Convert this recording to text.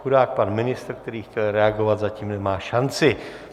Chudák pan ministr, který chtěl reagovat, zatím nemá šanci.